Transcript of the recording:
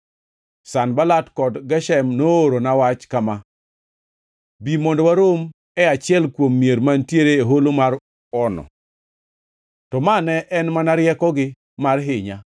Sanbalat kod Geshem noorona wach kama: “Bi mondo warom e achiel kuom mier mantiere e holo mar Ono.” To ma ne en mana riekogi mar hinya;